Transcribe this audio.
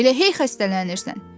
Elə hey xəstələnirsən.